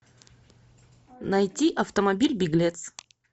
найти автомобиль беглец